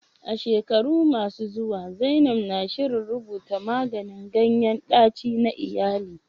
A shekaru masu zuwa, zainab na shirin rubuta maganin ganyen ɗaci na iyali.